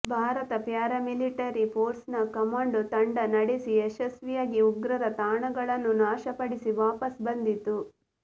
Bharat paramilitary force ನ commando ತಂಡ ನಡೆಸಿ ಯಶಸ್ವಿಯಾಗಿ ಉಗ್ರರ ತಾಣಗಳನ್ನು ನಾಶ ಪಡಿಸಿ ವಾಪಸ್ ಬಂದಿತ್ತು